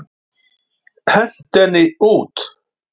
Hentu henni út!